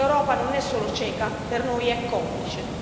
L'Europa non è solo cieca, per noi è complice.